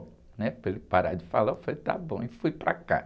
né? Para ele parar de falar, eu falei, tá bom, e fui para casa